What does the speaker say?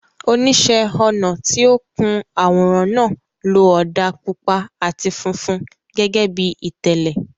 Oníṣẹ́ ọnà tí ó kun àwòrán náà lo ọ̀dà pupa àti funfun gẹ́gẹ́ bí ìtẹ́lẹ̀.